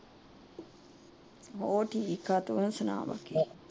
ਹੋਰ ਠੀਕ ਏ, ਤੂੰ ਸੁਣਾ।